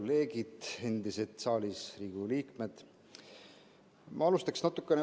Head endised kolleegid saalis, Riigikogu liikmed!